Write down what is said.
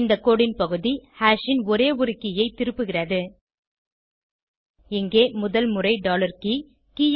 இந்த கோடு ன் பகுதி ஹாஷ் ன் ஒரே ஒரு கே ஐ திருப்புகிறது இங்கே முதல் முறை டாலர் கே கே